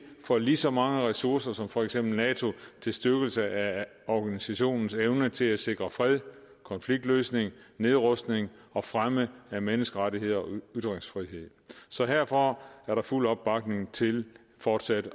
får lige så mange ressourcer som for eksempel nato til styrkelse af organisationens evne til at sikre fred konfliktløsning nedrustning og fremme af menneskerettigheder og ytringsfrihed så herfra er der fuld opbakning til fortsat